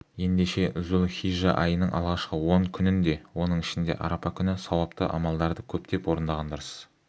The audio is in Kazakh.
ендеше зүл-хижжа айының алғашқы он күнін де оның ішінде арапа күні сауапты амалдарды көптеп орындаған дұрыс